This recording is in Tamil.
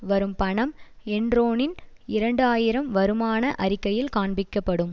வரும் பணம் என்ரோனின் இரண்டு ஆயிரம் வருமான அறிக்கையில் காண்பிக்கப்படும்